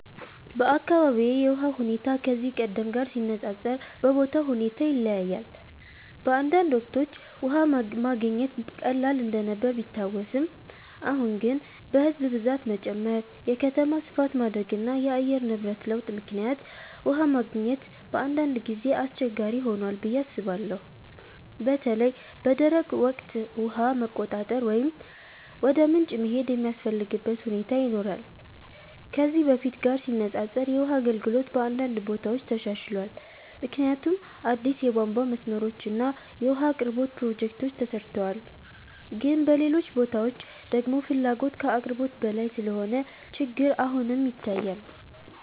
በአካባቢዬ የውሃ ሁኔታ ከዚህ ቀደም ጋር ሲነፃፀር በቦታው ሁኔታ ይለያያል። በአንዳንድ ወቅቶች ውሃ መገኘት ቀላል እንደነበር ቢታወስም፣ አሁን ግን በሕዝብ ብዛት መጨመር፣ የከተማ ስፋት ማደግ እና የአየር ንብረት ለውጥ ምክንያት ውሃ ማግኘት በአንዳንድ ጊዜ አስቸጋሪ ሆኗል ብዬ አስባለሁ። በተለይ በደረቅ ወቅት ውሃ መቆራረጥ ወይም ወደ ምንጭ መሄድ የሚያስፈልግበት ሁኔታ ይኖራል። ከዚህ በፊት ጋር ሲነፃፀር የውሃ አገልግሎት በአንዳንድ ቦታዎች ተሻሽሏል፣ ምክንያቱም አዲስ የቧንቧ መስመሮች እና የውሃ አቅርቦት ፕሮጀክቶች ተሰርተዋል። ግን በሌሎች ቦታዎች ደግሞ ፍላጎት ከአቅርቦት በላይ ስለሆነ ችግር አሁንም ይታያል።